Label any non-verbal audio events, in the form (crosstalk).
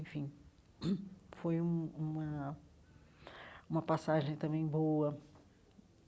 Enfim, (clears throat) foi um uma uma passagem também boa.